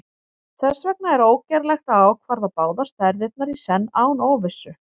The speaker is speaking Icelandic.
þess vegna er ógerlegt að ákvarða báðar stærðirnar í senn án óvissu